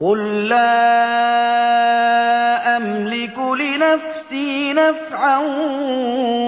قُل لَّا أَمْلِكُ لِنَفْسِي نَفْعًا